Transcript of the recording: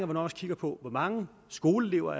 man også kigger på hvor mange skoleelever